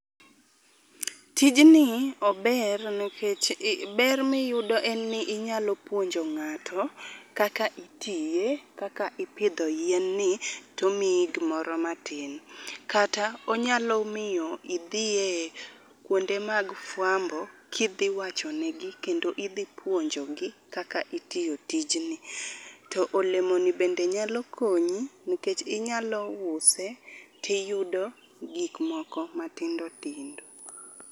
Tijni ober nikech ber ma iyudo en ni inyalo puonj ng'ato kaka itiye, kaka ipidho yien ni tomiyi gimoro matin. Kata onyalo miyo idhi e kuonde mag fuambo kidhi wachonegi kendo kendo midhi puonkogi kaka itiyo tijni. To olemoni bende nyalo konyi nikech inyalo use tiyudo gik moko matindo tindo.